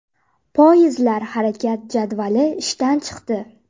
Poyezdlar harakat jadvali ishdan chiqdi.